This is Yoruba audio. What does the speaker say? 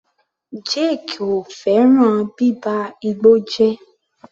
Jake kò fẹ́ràn bíba igbó jẹ́.